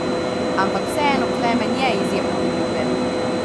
Ampak vseeno Klemen je izjemno priljubljen.